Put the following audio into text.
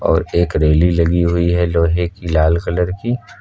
और एक रेली लगी हुई है लोहे की लाल कलर की।